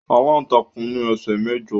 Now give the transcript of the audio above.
Aláǹtakùn ní ẹsẹ mẹ́jọ.